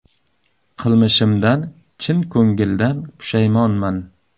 Qilmishimdan chin ko‘ngildan pushaymonman.